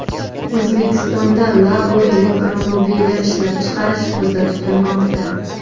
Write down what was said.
O‘zbekistonda Labo elektromobili ishlab chiqarish ko‘zda tutilmoqda.